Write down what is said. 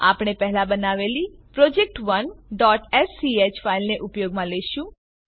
આપણે પહેલા બનાવેલી project1સ્ક ફાઈલને ઉપયોગમાં લેશું